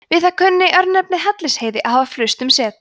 við það kunni örnefnið hellisheiði að hafa flust um set